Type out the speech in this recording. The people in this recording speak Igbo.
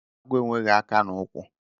Agwo enwegi aka na ukwu